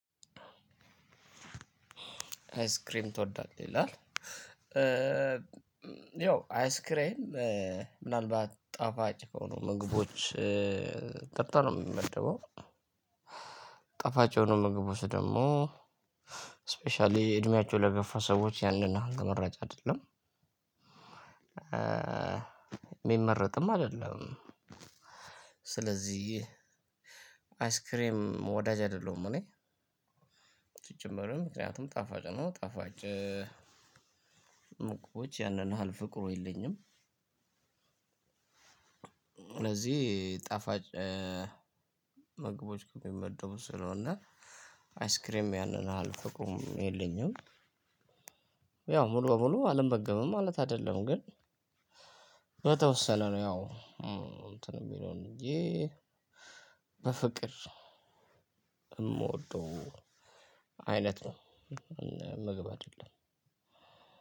አይስክሬም ትወዳለህ ይላል? ያው አይስክሬም ምናልባት ጣፋጭ ከሆኑ ምግቦች ቀጥታ ነው ሚመደበው ጣፋጭ የሆኑ ምግቦች ደግሞ ስፔሻሊ እድሜያቸው ለገፋ ሰዎች ያንን መረጃ አይደለም ሚመረጥም አይደለም። ስለዚህ አይስክሬም ወዳጅ አይደለሁም እኔ ሲጀመርም ምክንያቱም ጣፋጭ ነው ጣፋጭ ምግቦች ያንን ያህል ፍቅሩ የለኝም። ስለዚህ ጣፋጭ ምግቦች ከሚመደቡ ስለሆነ አይስክሬም ያንን ያህል ፍቅሩም የለኝም። ያው ሙሉ በሙሉ አልመገብም ማለት አይደለም። ግን በተወሰነ ነው ያው እንትን ሚለው እንጂ በፍቅር እምወደው አይነት ነው። ምግብ አደለም።